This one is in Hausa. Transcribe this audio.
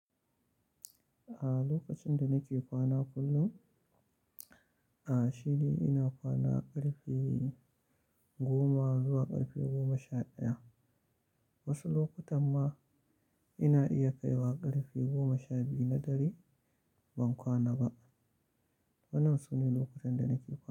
A lokacin da nake kwana kullum, a shidi ina kwana ƙarfe goma zuwa ƙarfe goma sha ɗaya. Wasu lokutan ma ina iya kaiwa ƙarfe goma sha biyu na dare ban kwana ba. Wannan sune lokutan da nake kwana.